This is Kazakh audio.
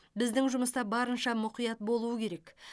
біздің жұмыста барынша мұқият болу керек